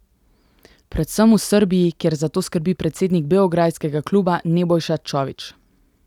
Predvsem v Srbiji, kjer za to skrbi predsednik beograjskega kluba Nebojša Čović.